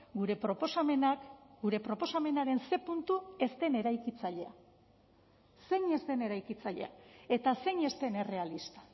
gure proposamenak gure proposamenaren ze puntu ez den eraikitzailea zein ez den eraikitzailea eta zein ez den errealista